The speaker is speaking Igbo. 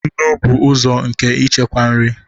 nnu bụ ụzọ nke ichekwa nri